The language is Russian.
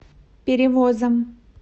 перевозом